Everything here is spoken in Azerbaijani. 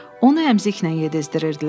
Onu əmziklə yedizdirirdilər.